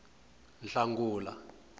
hlangula